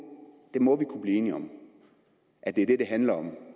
det må vi kunne blive enige om at det handler om